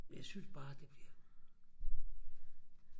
men jeg synes bare det bliver